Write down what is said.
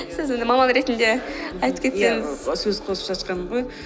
сіз енді маман ретінде айтып кеттіңіз сөз қосып жатқаным ғой